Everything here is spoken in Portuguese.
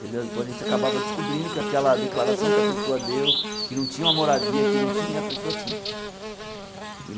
Tendeu depois a gente acabava descobrindo que aquela declaração que a pessoa deu, que não tinha uma moradia, que não tinha, e a pessoa tinha.